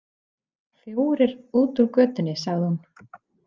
Fjórir út úr götunni, sagði hún.